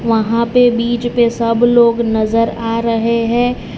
वहां पे बीच पे सब लोग नजर आ रहे हैं।